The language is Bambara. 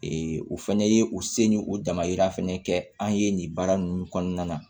o fɛnɛ ye u se ni o damayira fana kɛ an ye nin baara ninnu kɔnɔna na